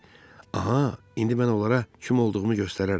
Aha, indi mən onlara kim olduğumu göstərərəm.